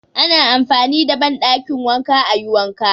Ana amfani da banɗakin wanka ayi wanka